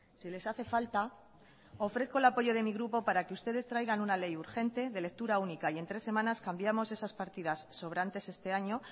si les hace falta ofrezco el apoyo de mi grupo para que ustedes traigan una ley urgente de lectura única y en tres semanas cambiamos esas partidas sobrantes este año